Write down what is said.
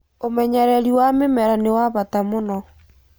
Ũmenyererĩ wa mĩmera nĩwa bata mũno